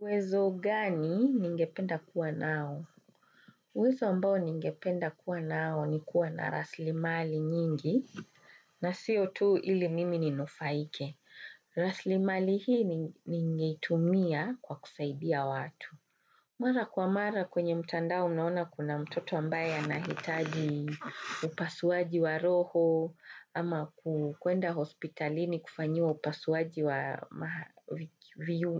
Uwezo gani ningependa kuwa nao? Uwezo ambao ningependa kuwa nao ni kuwa na raslimali nyingi, na sio tu ili mimi ni nufaike. Raslimali hii ningeitumia kwa kusaidia watu. Mara kwa mara kwenye mtandao unaona kuna mtoto ambaye anahitaji upasuaji wa roho ama kuenda hospitalini kufanyiwa upasuaji wa